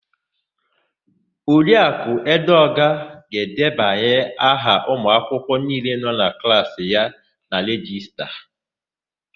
Oriakụ Edeọga ga-edebanye aha ụmụakwụkwọ niile nọ na klaasị ya na rejista.